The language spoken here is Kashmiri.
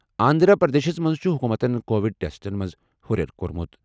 آنٛدھرا پرٛدیشس منٛز چُھ حُکوٗمتَن کووِڈ ٹیسٹَن منٛز ہُرٮ۪ر کوٚرمُت۔